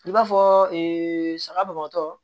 I b'a fɔ saga bɔntɔ